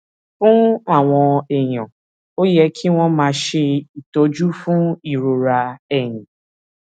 fún àwọn èèyàn ó yẹ kí wón máa ṣe ìtọjú fún ìrora ẹyìn